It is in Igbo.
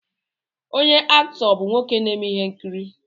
Onye Aktọọ bụ nwoke na-eme ihe nkiri